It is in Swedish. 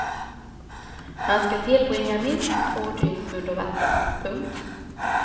Han ska tillbringa minst två dygn under vatten. punkt